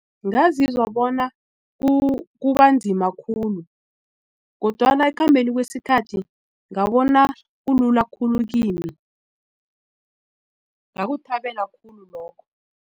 Ngazizwa bona kubanzima khulu kodwana ekukhambeni kwesikhathi ngabona kulula khulu kimi ngakuthabela khulu lokho.